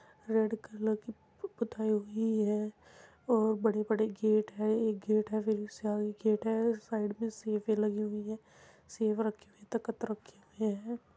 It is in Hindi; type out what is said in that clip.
रेड कलर की पु पुताई हुई है। ओ बड़े बड़े गेट हैं। एक गेट है। फिर इससे आगे गेट है। साइड में सेफें लगी हुई हैं। सेफें लगी हुई तखत रखे हुए हैं।